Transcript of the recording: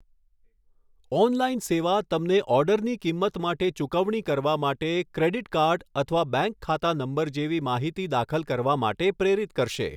Online સેવા તમને ઑર્ડરની કિંમત માટે ચૂકવણી કરવા માટે ક્રેડિટ કાર્ડ અથવા બેંક ખાતા નંબર જેવી માહિતી દાખલ કરવા માટે પ્રેરિત કરશે.